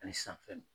Ani san fɛn